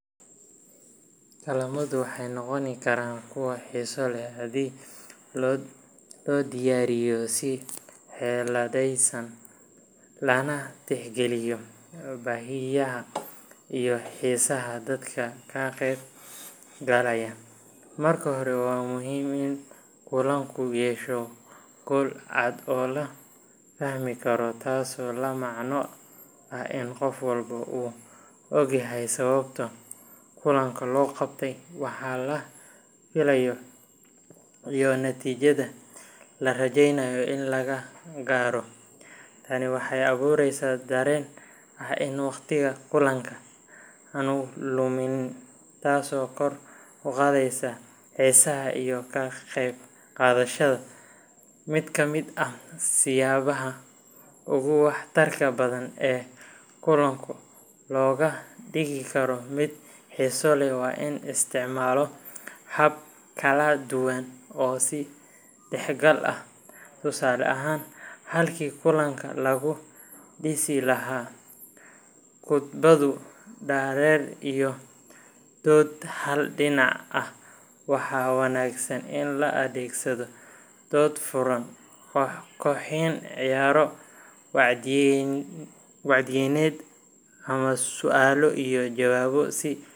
Kulamadu waxay noqon karaan kuwo xiiso leh haddii loo diyaariyo si xeeladaysan, lana tixgeliyo baahiyaha iyo xiisaha dadka ka qeybgalaya. Marka hore, waa muhiim in kulanku yeesho yool cad oo la fahmi karo, taasoo la macno ah in qof walba uu ogyahay sababta kulanka loo qabtay, waxa laga filayo, iyo natiijada la rajeynayo in laga gaaro. Tani waxay abuureysaa dareen ah in waqtiga kulanka aanu luminayn, taasoo kor u qaadaysa xiisaha iyo ka qeybqaadashada. Mid ka mid ah siyaabaha ugu waxtarka badan ee kulanka looga dhigi karo mid xiiso leh waa in la isticmaalo habab kala duwan oo is dhexgal ah. Tusaale ahaan, halkii kulanka lagu dhisi lahaa khudbado dhaadheer iyo dood hal dhinac ah, waxaa wanaagsan in la adeegsado dood furan, koox kooxeyn, ciyaaro wacyigelineed ama su’aalo iyo jawaabo si.